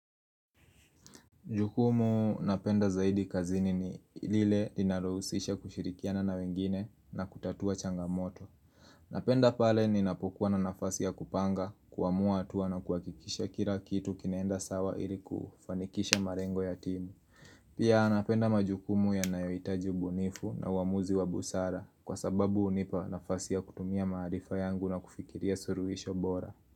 Jukumu napenda zaidi kazini ni ilile linalo husisha kushirikiana na wengine na kutatua changamoto Napenda pale ninapokuwa na nafasi ya kupanga, kuamua hatua na kuakikisha kila kitu kinaenda sawa ili kufanikisha marengo ya timu Pia napenda majukumu yanayoitaji bunifu na uamuzi wa busara kwa sababu unipa nafasi ya kutumia marifa yangu na kufikiria suruhisho bora.